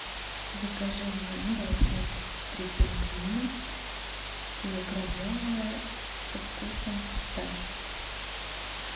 закажи мне мороженое тридцать три пингвина килограммовое со вкусом фисташки